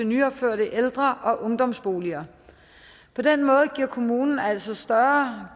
nyopførte ældre og ungdomsboliger på den måde gives kommunen altså større